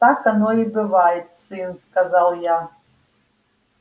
так оно и бывает сын сказал я